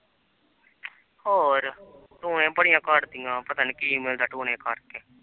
ਹੋਰ ਟੂਣੇ ਬੜੀਆਂ ਕਰਦੀਆਂ ਪਤਾ ਨੀ ਕੀ ਮਿਲਦਾ ਟੂਣੇ ਕਰਕੇ